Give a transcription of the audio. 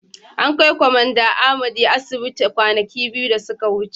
An kai Kwamanda Amadi asibiti kwanaki biyu da suka wuce.